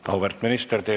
Auväärt minister!